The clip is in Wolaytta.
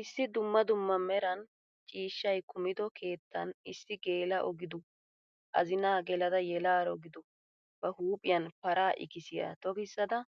Issi dumma dumma meran ciishshay kumido keettan issi geela'o gidu, azinaa gelada yeelaro gidu ba huuphphiyan paraa ikkisyaa tokkisada